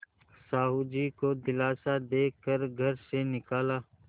साहु जी को दिलासा दे कर घर से निकाला